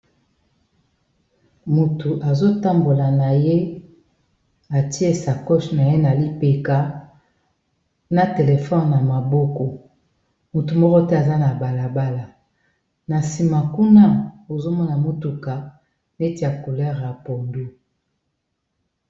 Motu azo tambola na ye atiesa coche na ye na lipeka na telefone na maboko motu moko te aza na balabala na nsima kuna ozomona motuka neti ya coulere ya pondu.